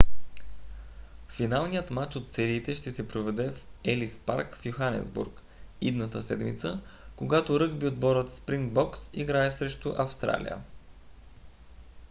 финалният мач от сериите ще се проведе в елис парк в йоханесбург идната седмица когато ръгби отборът спрингбокс играе срещу австралия